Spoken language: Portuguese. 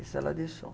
Isso ela deixou.